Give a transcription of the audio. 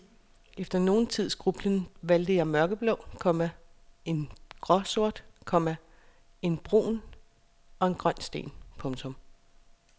Efter nogen tids grublen valgte jeg flere mørkeblå, komma en gråsort, komma en brun og en grøn sten. punktum